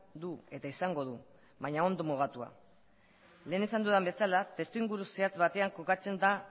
du eta izango du baina ondo mugatua lehen esan dudan bezala testuinguru zehatzaz batean kokatzen da